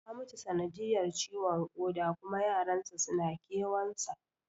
Ya mutu sanadiyar ciwon koda kuma yaran sa suna kewan sa